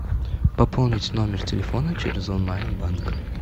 пополнить номер телефона через онлайн банк